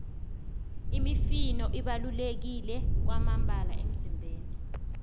imifino ibaluleke kwamambala emizimbeni